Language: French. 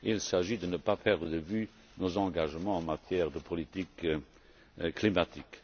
Il s'agit de ne pas perdre de vue nos engagements en matière de politique climatique.